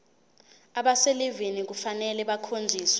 abaselivini kufanele bakhonjiswe